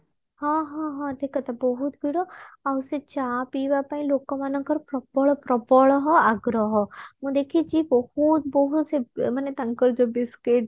ହଁ ହଁ ହଁ ଠିକ କଥା ବହୁତ ଭିଡ ଆଉ ସେ ଚା ପିଇବା ପାଇଁ ଲୋକମାନଙ୍କର ପ୍ରବଳ ପ୍ରବଳହ ଆଗ୍ରହ ମୁଁ ଦେଖିଛି ବହୁତ ବହୁତ ସେ ମାନେ ତାଙ୍କର ଯୋଉ biscuit